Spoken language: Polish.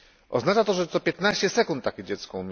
Oznacza to, że co 15 sekund umiera dziecko.